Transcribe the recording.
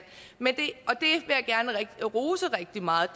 og rose rigtig meget